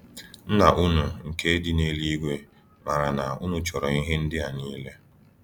Nna unu nke dị n’eluigwe maara na unu chọrọ ihe ndị a niile.